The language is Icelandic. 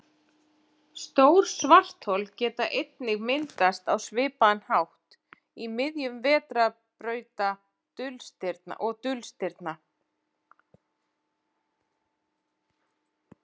Stór svarthol geta einnig myndast á svipaðan hátt í miðjum vetrarbrauta og dulstirna.